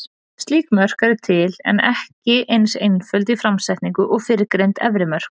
Slík mörk eru til, en eru ekki eins einföld í framsetningu og fyrrgreind efri mörk.